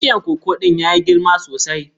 Bishiyan koko ɗin ya yi girma sosai.